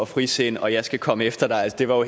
frisind og jeg skal komme efter dig det var